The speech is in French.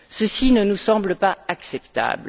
Ceci ne nous semble pas acceptable.